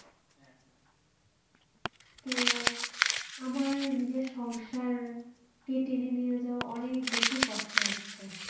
তো আমার নিজের সংসার কে টেনে নিয়ে যাওয়া অনেক বেশি কষ্ট হচ্ছে